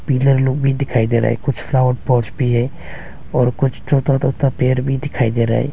Pillar लोग भी दिखाई दे रहा है कुछ फ्लावर पॉट्स भी है और कुछ छोटा छोटा पेड़ भी दिखाई दे रहा है।